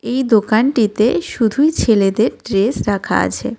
এই দোকানটিতে শুধুই ছেলেদের ড্রেস রাখা আছে।